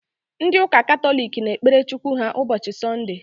Ndị ụka Katọlik na-ekpere Chukwu ha ụbọchị Sọnde